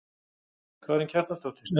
Karen Kjartansdóttir: En þið?